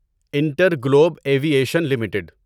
inter Globe aviation limited